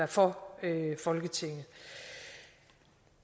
for folketinget